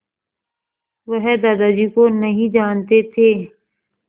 वह दादाजी को नहीं जानते थे